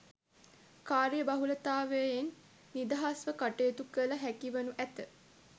කාර්ය බහුලතාවයෙන් නිදහස්ව කටයුතු කළ හැකිවනු ඇත.